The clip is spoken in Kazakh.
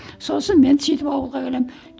сосын мен сөйтіп ауылға келемін